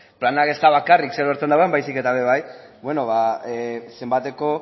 planak ez da bakarrik zer agertzen den baizik eta ere bai zenbateko